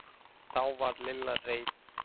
Þá varð Lilla reið.